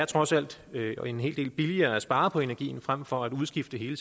trods alt er en hel del billigere at spare på energien frem for at udskifte hele